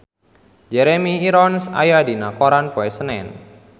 Jeremy Irons aya dina koran poe Senen